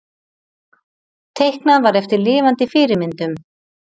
Teiknað var eftir lifandi fyrirmyndum.